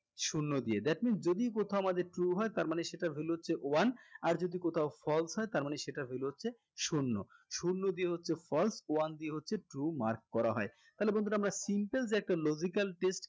শূন্য দিয়ে that means যদি কোথাও আমাদের true হয় তার মানে সেটার value হচ্ছে one আর যদি কোথাও false হয় তার মানে সেটার value হচ্ছে শূন্য শূন্য দিয়ে হচ্ছে false one দিয়ে হচ্ছে true mark করা হয় তাহলে বন্ধুরা আমরা সিম্পল যে একটা logical test